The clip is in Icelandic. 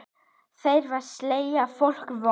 Þeir selja fólki von.